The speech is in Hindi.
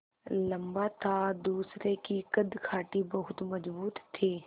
लम्बा था दूसरे की कदकाठी बहुत मज़बूत थी